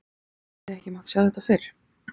En hefði ekki mátt sjá þetta fyrir?